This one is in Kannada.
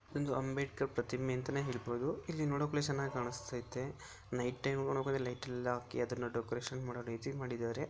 ಒಂದು ಅಂಬೇಡ್ಕರ್ ಪ್ರತಿಮೆ ಅಂತಾನೆ ಹೇಳ್ಬಹುದು ಇಲ್ಲಿ ನೋಡೋಕು ಚೆನ್ನಾಗ್ ಕಾಣಿಸತೈತೆ ನೈಟ್ ಟೈಮ್ ನೋಡೋಕ್ ಹೋದ್ರೆ ಲೈಟ್ ಎಲ್ಲಾ ಹಾಕಿ ಅದನ್ನ ಡೆಕೋರೇಷನ್ ಮಾಡಿ ಡಿಸೈನ್ ಮಾಡಿದ್ದಾರೆ.